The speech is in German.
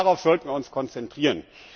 Darauf sollten wir uns konzentrieren.